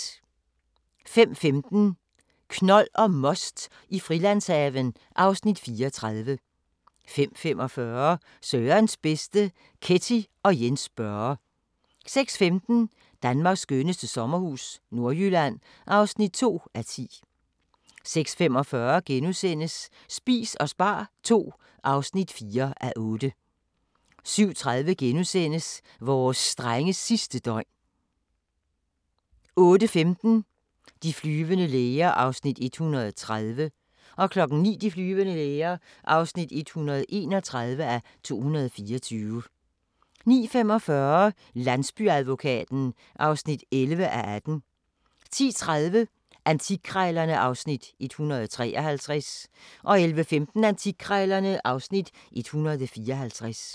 05:15: Knold og most i Frilandshaven (Afs. 34) 05:45: Sørens bedste: Ketty og Jens Børre 06:15: Danmarks skønneste sommerhus – Nordjylland (2:10) 06:45: Spis og spar II (4:8)* 07:30: Vores drenges sidste døgn * 08:15: De flyvende læger (130:224) 09:00: De flyvende læger (131:224) 09:45: Landsbyadvokaten (11:18) 10:30: Antikkrejlerne (Afs. 153) 11:15: Antikkrejlerne (Afs. 154)